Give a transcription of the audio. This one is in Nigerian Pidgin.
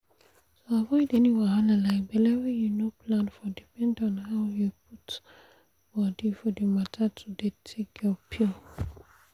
to avoid any wahala like belle wey you no plan for depend on how you put body for the matter to dey take your pill.